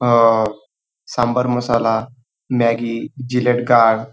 अह sambar masala Maggi Gillette guard --